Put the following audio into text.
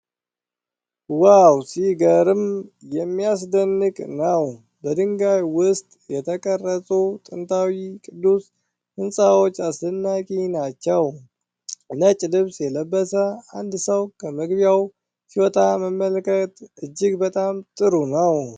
ዋው! ሲገርም የሚያስደንቅ ነው! በድንጋይ ውስጥ የተቀረጹት ጥንታዊ ቅዱስ ሕንፃዎች አስደናቂ ናቸው። ነጭ ልብስ የለበሰ አንድ ሰው ከመግቢያው ሲወጣ መመልከት እጅግ በጣም ጥሩ ነው!